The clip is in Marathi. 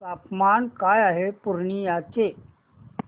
तापमान काय आहे पूर्णिया चे